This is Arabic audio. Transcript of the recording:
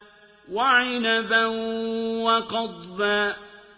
وَعِنَبًا وَقَضْبًا